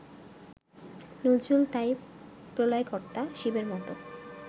নজরুল তাই প্রলয়কর্তা, শিবের মতো